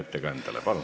Palun!